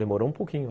Demorou um pouquinho.